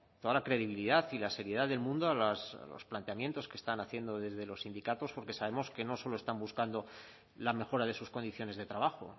toda la credibilidad y la seriedad del mundo a los planteamientos que están haciendo desde los sindicatos porque sabemos que no solo están buscando la mejora de sus condiciones de trabajo